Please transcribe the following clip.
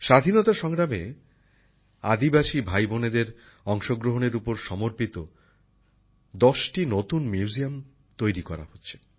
স্বাধীনতা সংগ্রামে আদিবাসী ভাই বোনেদের অংশগ্রহণের উপর সমর্পিত দশটি নতুন মিউজিয়াম তৈরি করা হচ্ছে